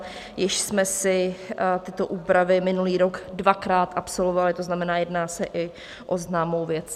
Již jsme si tyto úpravy minulý rok dvakrát absolvovali, to znamená, jedná se i o známou věc.